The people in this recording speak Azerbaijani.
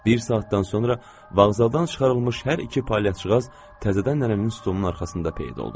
Bir saatdan sonra vağzaldan çıxarılmış hər iki palyaçıqaz təzədən nənənin stolunun arxasında peyda oldular.